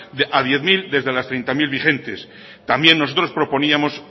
a diez mil desde las treinta mil vigentes también nosotros proponíamos